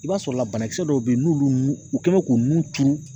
I b'a sɔrɔ la banakisɛ dɔw bɛ yen n'olu nu kɛlen do k'u nun turu.